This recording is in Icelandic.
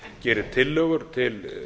gerir tillögur til